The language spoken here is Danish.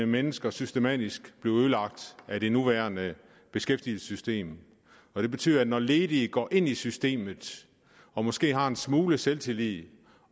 mennesker systematisk blive ødelagt af det nuværende beskæftigelsessystem det betyder at når ledige går ind i systemet og måske har en smule selvtillid